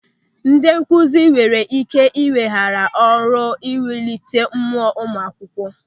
Ndị nkụzi nwere ike ị weghara ọrụ iwulite mmụọ ụmụ akwụkwọ.